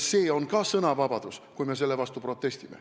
See on ka sõnavabadus, kui me selle vastu protestime.